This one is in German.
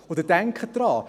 Und denken Sie daran: